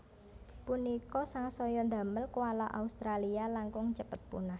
Punika sangsaya ndamel koala Australia langkung cepet punah